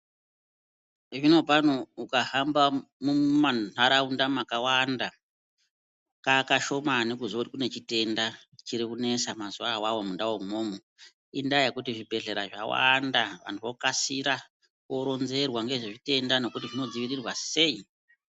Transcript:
Zvinopano ukahamba mumantaraunda makawanda kakashomani kuziye kuti kune chitenda chiti kunesa mazuva avavo mundau imwomwo. Indaa yekuti zvibhedhleya zvawanda vantu vokasira koronzerwa ngezvezvitenda nokuti zvinodzivirirwa sei.